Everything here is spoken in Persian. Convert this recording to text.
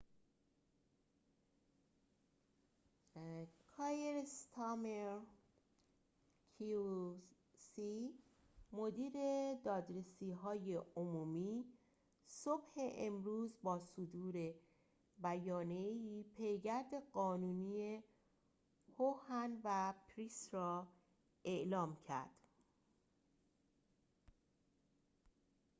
مدیر دادرسی های عمومی kier starmer qc صبح امروز با صدور بیانیه ای پیگرد قانونی هوهن و پریس را اعلام کرد